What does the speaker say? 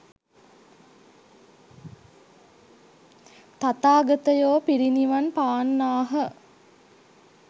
තථාගතයෝ පිරිනිවන් පාන්නාහ.